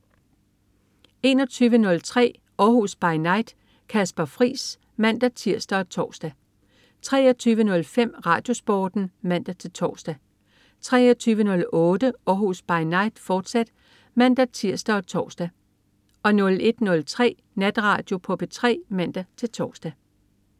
21.03 Århus By Night. Kasper Friis (man-tirs og tors) 23.05 RadioSporten (man-tors) 23.08 Århus By Night, fortsat (man-tirs og tors) 01.03 Natradio på P3 (man-tors)